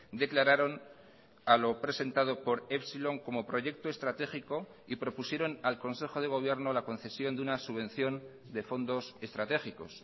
declararon a lo presentado por epsilon como proyecto estratégico y propusieron al consejo de gobierno la concesión de una subvención de fondos estratégicos